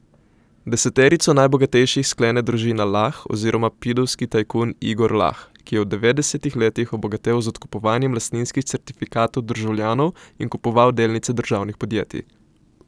Deseterico najbogatejših sklene družina Lah oziroma pidovski tajkun Igor Lah, ki je v devetdesetih letih obogatel z odkupovanjem lastninskih certifikatov državljanov in kupoval delnice državnih podjetij.